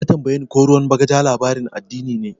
Ya tambaye ko ruwan bagaja labarin addini ne.